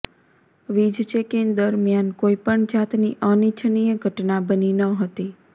વીજ ચેકિંગ દરમ્યાન કોઇપણ જાતની અનિચ્છનીય ઘટના બની ન હતી